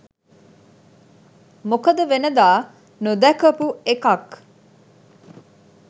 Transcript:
මොකද වෙනදා නොදැකපු එකක්